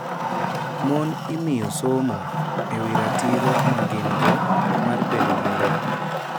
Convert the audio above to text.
Mon imiyo somo e wi ratiro ma gin-go mar bedo gi lowo.